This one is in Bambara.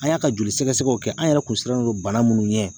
An y'a ka joli sɛgɛsɛgɛw kɛ an yɛrɛ kun sirannen don bana minnu ɲɛ